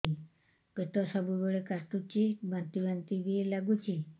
ପେଟ ସବୁବେଳେ କାଟୁଚି ବାନ୍ତି ବାନ୍ତି ବି ଲାଗୁଛି